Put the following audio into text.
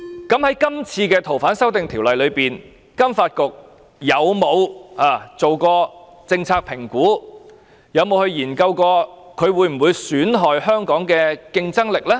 在這次修例的過程中，金發局有否做過政策評估，研究修例可能損害香港的競爭力呢？